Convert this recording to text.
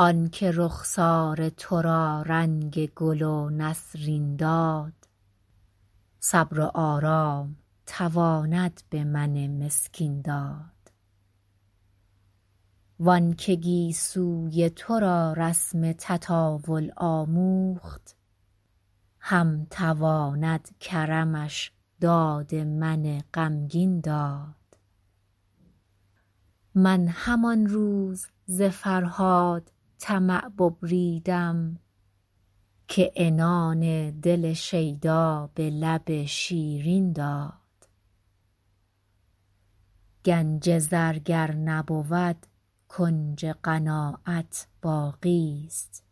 آن که رخسار تو را رنگ گل و نسرین داد صبر و آرام تواند به من مسکین داد وان که گیسوی تو را رسم تطاول آموخت هم تواند کرمش داد من غمگین داد من همان روز ز فرهاد طمع ببریدم که عنان دل شیدا به لب شیرین داد گنج زر گر نبود کنج قناعت باقیست